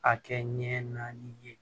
A kɛ ɲɛ naani ye